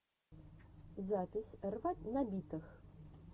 запись рвать на битах